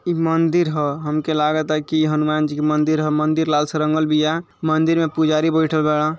ई मंदिर ह। हमके लागता की हनुमान जी का मंदिर ह। मंदिर लाल से रंगल बिया। मंदिर में पुजारी बाईठल बाड़न।